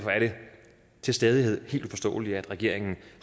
til stadighed helt uforståeligt at regeringen